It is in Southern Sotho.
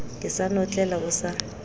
ke sa notlela o sa